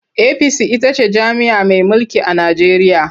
APC ita ce jam'iyya mai mulki a Najeriya.